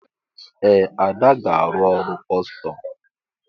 Ee! Ada ga-arụ ọrụ kọstọm.